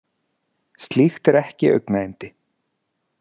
Slíkt er ekki augnayndi.